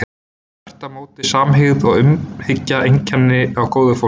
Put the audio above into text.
Þvert á móti væru samhygð og umhyggja einkenni á góðu fólki.